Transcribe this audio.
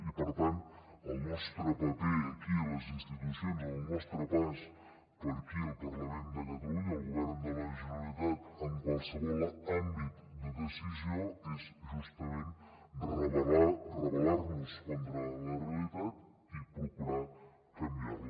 i per tant el nostre paper aquí a les institucions el nostre pas per aquí al parlament de catalunya al govern de la generalitat en qualsevol àmbit de decisió és justament rebellar nos contra la realitat i procurar canviar la